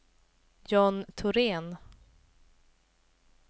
John Thorén